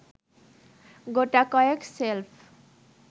গোটাকয়েক shelf